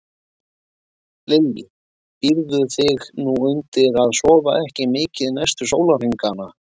Lillý: Býrðu þig nú undir að sofa ekki mikið næstu sólarhringana?